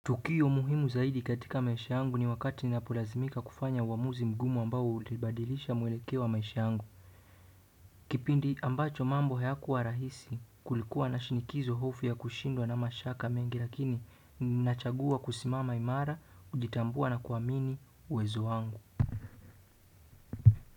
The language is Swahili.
Tukio muhimu zaidi katika maisha yangu ni wakati ninapolazimika kufanya uamuzi mgumu ambao ulibadilisha mwelekeo wa maisha yangu. Kipindi ambacho mambo hayakuwa rahisi kulikuwa na shinikizo, hofu ya kushindwa na mashaka mengi lakini ninachagua kusimama imara, kujitambua na kuamini uwezo wangu.